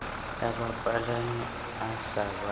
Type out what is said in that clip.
ya bapalami a sa ba